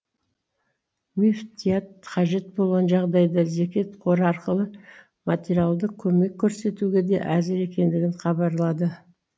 мүфтият қажет болған жағдайда зекет қоры арқылы материалдық көмек көрсетуге де әзір екендігін хабарлады